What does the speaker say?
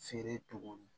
Feere cogo min